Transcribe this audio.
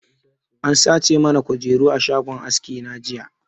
An sace mana kujeru a shagon aski na jiya